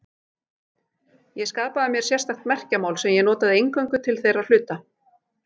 Ég skapaði mér sérstakt merkjamál sem ég notaði eingöngu til þeirra hluta.